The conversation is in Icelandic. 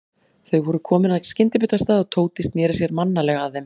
Þau voru komin að skyndibitastað og Tóti sneri sér mannalega að þeim.